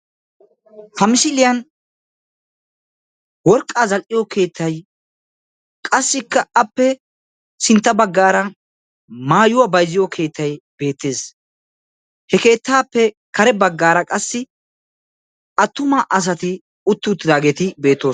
Ha misiliyan worqqa zal'iyo keettay beetees. Appe sintta bagan maatuwa zal'iyo keettay beetees.